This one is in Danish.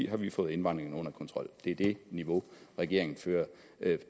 har vi fået indvandringen under kontrol det er det niveau regeringen fører